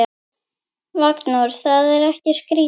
Magnús: Er það ekki skrítið?